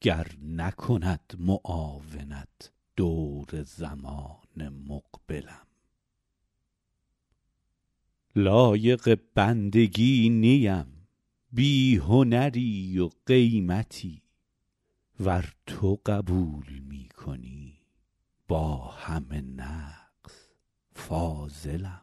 گر نکند معاونت دور زمان مقبلم لایق بندگی نیم بی هنری و قیمتی ور تو قبول می کنی با همه نقص فاضلم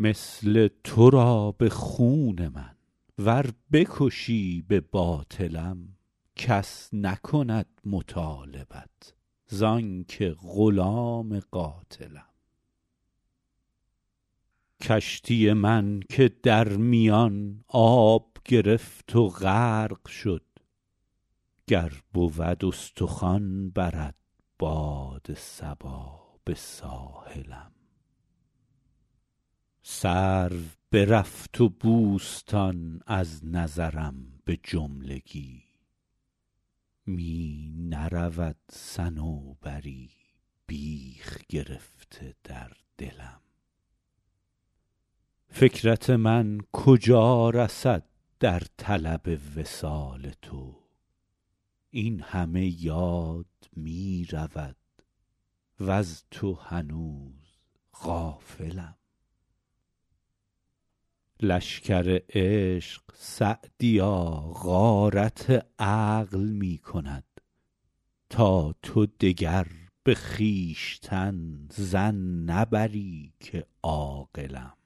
مثل تو را به خون من ور بکشی به باطلم کس نکند مطالبت زان که غلام قاتلم کشتی من که در میان آب گرفت و غرق شد گر بود استخوان برد باد صبا به ساحلم سرو برفت و بوستان از نظرم به جملگی می نرود صنوبری بیخ گرفته در دلم فکرت من کجا رسد در طلب وصال تو این همه یاد می رود وز تو هنوز غافلم لشکر عشق سعدیا غارت عقل می کند تا تو دگر به خویشتن ظن نبری که عاقلم